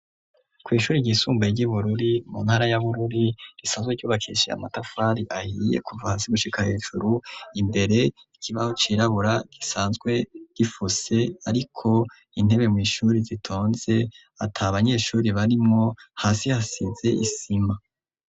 Kw’ Ishure ryisumbuye ry'Ibururi mu ntara ya Bururi risanzwe ryubakishije amatafari ahiye kuva hasi gushika hejuru, imbere ikibaho cirabura gisanzwe gifuse ,ariko intebe mw’ishure zitonze atabanyeshure barimwo, hasi hasize isima.